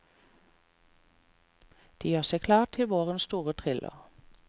De gjør seg klare til vårens store thriller.